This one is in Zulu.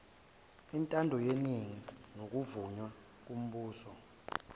intandoyeningi nokuvunywa kombuso